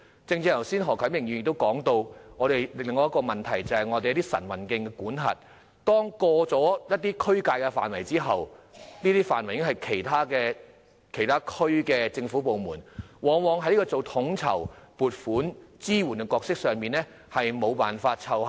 剛才何啟明議員提及的另一個問題是關於晨運徑的管轄，當越過一個地區的界線後，那範圍便屬於其他地區的政府部門管轄，因此，區議會往往在統籌、撥款及支援的角色上無法奏效。